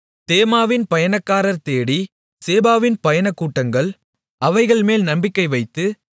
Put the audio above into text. தேமாவின் பயணக்காரர் தேடி சேபாவின் பயணக்கூட்டங்கள் அவைகள்மேல் நம்பிக்கை வைத்து